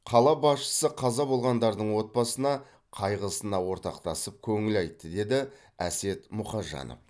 қала басшысы қаза болғандардың отбасына қайғысына ортақтасып көңіл айтты деді әсет мұқажанов